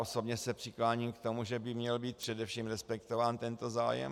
Osobně se přikláním k tomu, že by měl být především respektován tento zájem.